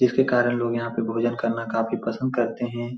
जिसके कारण लोग यहाँ पे भोजन करना काफी पसंद करते हैं।